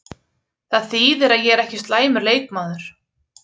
Það þýðir að ég er ekki slæmur leikmaður!